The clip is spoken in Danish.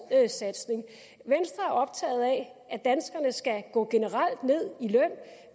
satsning venstre er optaget af at danskerne generelt skal gå ned